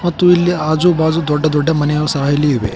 ಮತ್ತು ಇಲ್ಲಿ ಆಜು ಬಾಜು ದೊಡ್ಡ ದೊಡ್ಡ ಮನೆಗಳು ಸಹ ಇವೆ.